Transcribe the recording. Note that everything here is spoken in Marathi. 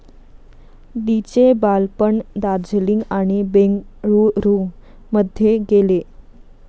लीचे बालपण दार्जीलिंग आणि बेंगळूरू मध्ये गेले.